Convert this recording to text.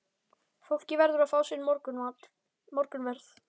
Fólkið verður að fá sinn morgunverð.